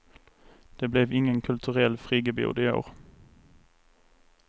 Det blev ingen kulturell friggebod i år.